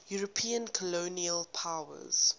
european colonial powers